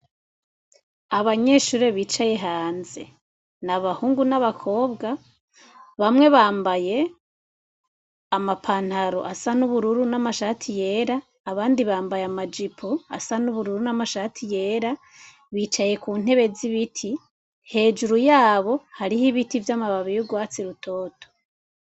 Abanyeshure bicaye hanze ni abahungu n'abakobwa bamwe bambaye amapantaro asa n'ubururu n'amashati yera abandi bambaye amajipo asa n'ubururu n'amashati yera bicaye ku ntebe z'ibiti hejuru yabo hariho ibiti vy'amababi y'urwatsi rutoto.